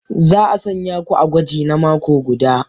Za a sanya ku a gwaji na mako guda.